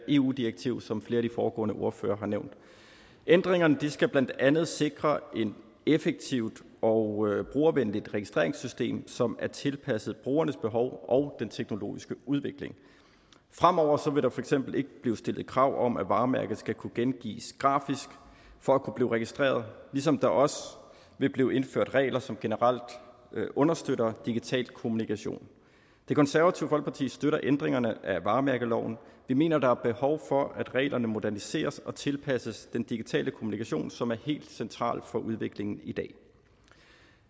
eu direktivet som flere af de foregående ordførere ændringerne skal blandt andet sikre et effektivt og brugervenligt registreringssystem som er tilpasset brugernes behov og den teknologiske udvikling fremover vil der for eksempel ikke blive stillet krav om at varemærket skal kunne gengives grafisk for at kunne blive registreret ligesom der også vil blive indført regler som generelt understøtter digital kommission det konservative folkeparti støtter ændringerne af varemærkeloven vi mener der er behov for at reglerne moderniseres og tilpasses den digitale kommunikation som er helt central for udviklingen i dag